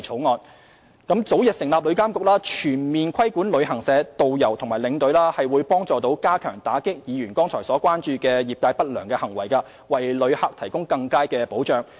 旅監局早日成立，將可全面規管旅行社、導遊及領隊，有助加強打擊議員剛才表示關注的業界不良行為，為旅客提供更佳保障。